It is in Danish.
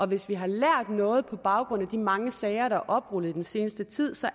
hvis vi har lært noget på baggrund af de mange sager der oprullet i den seneste tid